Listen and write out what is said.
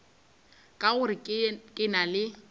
ka gore ke na le